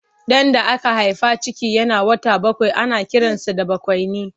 Ɗan da aka haifa ciki yana wata bakwai ana kiransa da bakwaini.